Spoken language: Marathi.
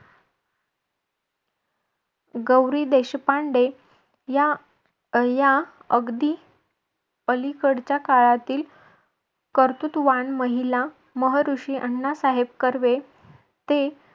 गौरी देशपांडे या अं या अगदी अलीकडच्या काळातील कर्तृत्ववान महिला महऋषी अण्णा साहेब कर्वे ते